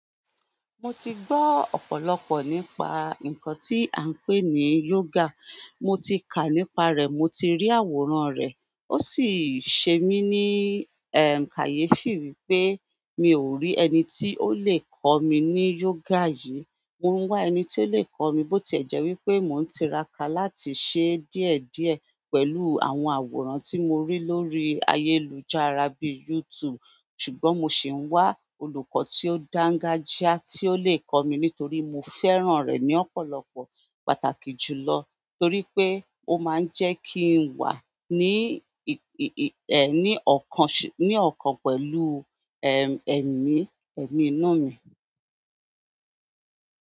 Mo ti gbọ́ ọ̀pọ̀lọpọ̀ nípa nǹkan tí à ń pè ní yoga, mo ti kà nípa rẹ̀, mo ti rí àwòrán rẹ̀, ó sì ṣe mí ní, kàyé fì wí pé mi ò rí ẹni tí ó lè kọ́ mi ní yoga yìí. Mo ń wá ẹni tí ó lè kọ́ mi, bó ti ẹ̀ jẹ́ wípé mò ń tiraka láti ṣe díẹ̀díẹ̀ pẹ̀lú àwọn àwòrán tí mo rí lórí ayélujára bí i YouTube. Ṣùgbọ́n mo sì ń wá olùkọ́ tí ó dángájíá tí ó lè kọ́ mi nítorí mo fẹ́ràn rẹ̀ ní ọ̀pọ̀lọpọ̀ pàtàkì jùlọ. Torí pé ó máa ń jẹ́ kí n wà ní ì ì ní ọkàn, ní ọkàn pẹ̀lú, ẹ̀mí, ẹ̀mí inú mi.